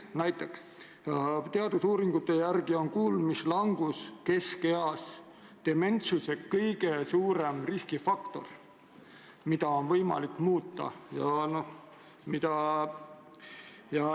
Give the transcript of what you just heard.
Teadusuuringute järgi on kuulmislangus keskeas dementsuse kõige suurem riskifaktor, aga seda on võimalik muuta.